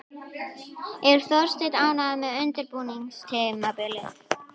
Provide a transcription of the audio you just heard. Er Þorsteinn ánægður með undirbúningstímabilið?